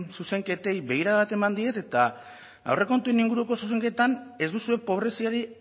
zuzenketei begirada bat eman diet eta aurrekontuen inguruko zuzenketan ez duzue pobreziari